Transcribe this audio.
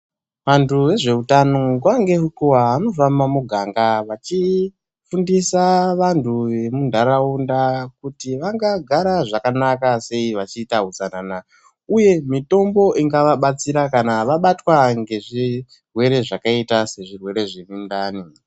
Vanhtu vezveutano nguwa ngenguwa vanofamba mumuganga vachifundisa vanhtu vemunhtaraunda kuti vangagara zvakanaka sei vachiita utsanana uye mitombo ingavabatsira kana vabatwa ngezvirwere zvakaita sezvirwere zvemundani.